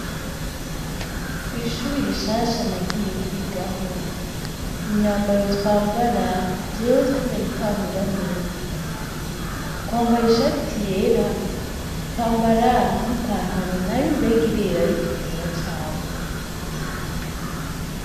Kw'ishure rishasha nagiye kwigaho. Imyambaro twambara jewe sindayitahura neza, twambara ishati yera, twambara n'ipantaro nayo umengo irera, ariko itera cane.